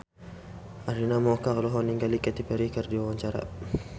Arina Mocca olohok ningali Katy Perry keur diwawancara